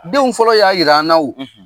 Denw fɔlɔ y'a jiran na o